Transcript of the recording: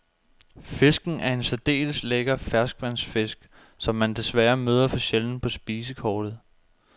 Fisken er en særdeles lækker ferskvandsfisk, som man desværre møder for sjældent på spisekortet.